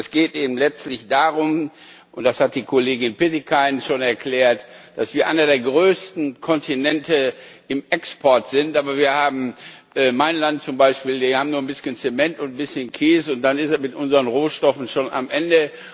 Es geht eben letztlich darum das hat die Kollegin Pietikäinen schon erklärt dass wir einer der größten Kontinente im Export sind. Aber wir haben mein Land zum Beispiel nur ein bisschen Zement und ein bisschen Käse, und dann ist es mit unseren Rohstoffen schon am Ende.